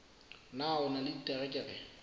na o na le diterekere